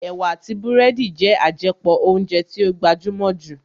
Ẹ̀wà àti búrẹ́dì jẹ́ àjẹpọ̀ óúnjẹ tí ó gbajúmọ̀ jù